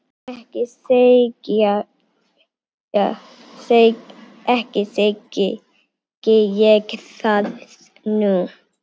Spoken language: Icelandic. Ekki segi ég það nú.